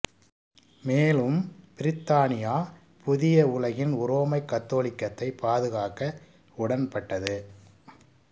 மேலும் பிரித்தானியா புதிய உலகில் உரோமைக் கத்தோலிக்கத்தை பாதுகாக்க உடன்பட்டது